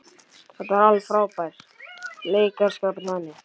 Þetta var alveg frábær leikaraskapur hjá henni.